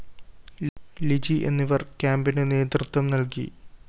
ലിജി എന്നിവര്‍ കേമ്പിന് നേതൃത്വം നല്‍കി